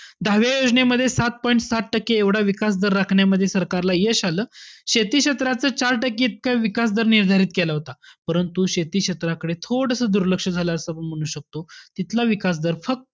दहाव्या योजनेमध्ये सात point सात टक्के एवढा विकास जर राखण्यामध्ये सरकारला यश आलं. शेती क्षेत्राचा इतका चार टक्के विकास निर्धारित केला होता. परंतु शेती क्षेत्राकडे थोडंसं दुर्लक्ष झालं असं आपण म्हणू शकतो. इथला विकास दर फक्त,